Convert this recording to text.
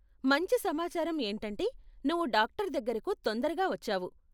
మంచి సమాచారం ఏంటంటే నువ్వు డాక్టర్ దగ్గరకు తొందరగా వచ్చావు.